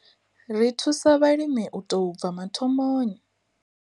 Ri thusa vhalimi u tou bva mathomoni.